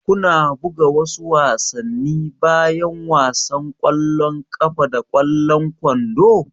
Kuna buga wasu wasanni bayan wasan ƙwallon ƙafa da ƙwallon kwando?